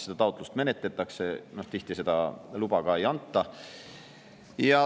Seda taotlust siis menetletakse ja tihti seda luba ei anta.